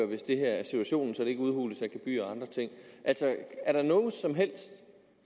hvis det her er situationen så de ikke udhules af gebyrer og andre ting altså